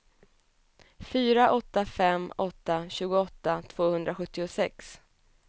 fyra åtta fem åtta tjugoåtta tvåhundrasjuttiosex